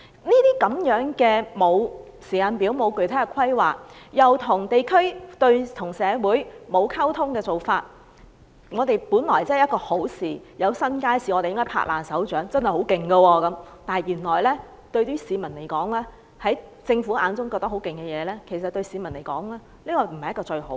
這種沒有時間表、沒有具體規劃又跟地區及社會缺乏溝通的做法，令興建新街市，這本是我們該拍掌歡迎的一件好事——變成政府滿以為很厲害，但對市民來說卻不是最好的事。